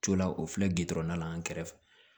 Co la o filɛ gindo la an kɛrɛfɛ